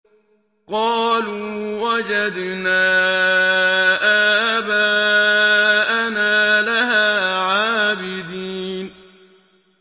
قَالُوا وَجَدْنَا آبَاءَنَا لَهَا عَابِدِينَ